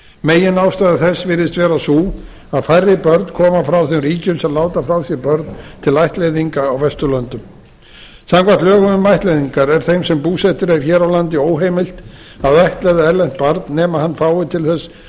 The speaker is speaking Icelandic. meginástæða þess virðist vera sú að færri börn koma frá þeim ríkjum sem láta frá sér börn til ættleiðinga á vesturlöndum samkvæmt lögum um ættleiðingar er þeim sem búsettur er hér á landi óheimilt að ættleiða erlent barna nema hann fái til þess